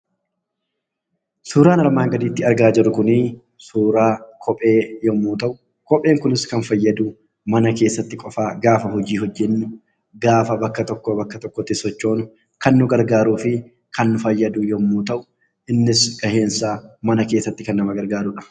Suuraan armaan gadiitti argaa jirru kun suura kophee yemmuu ta'u , kopheen kunis kan inni fayyadu mana keessatti qofa gaafa hojii hojjennu, gaafa bakka tokkoo bakka tokkootti sochoonu kan nu gargaarudha.